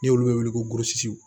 Ni olu bɛ wele ko gosi